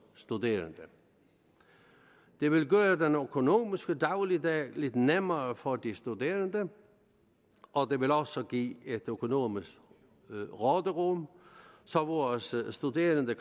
studerende det vil gøre den økonomiske dagligdag lidt nemmere for de studerende og det vil også give et økonomisk råderum så vores studerende